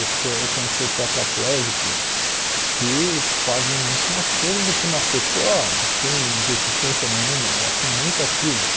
Pessoa eu conheço tetraplégicos que fazem muito mais coisa do que uma pessoa sem deficiência nenhuma, elas são muito ativas.